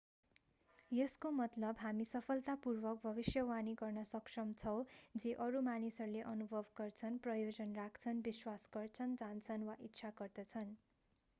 यसको मतलब हामी सफलतापूर्वक भविष्यवाणी गर्न सक्षम छौँ जे अरू मानिसहरूले अनुभव गर्छन् प्रयोजन राख्छन् विश्वास गर्छन् जान्छन् वा इच्छा गर्दछन्